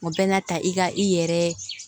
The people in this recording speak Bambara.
O bɛ na ta i ka i yɛrɛ